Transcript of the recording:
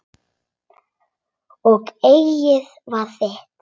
Og eggið var þitt!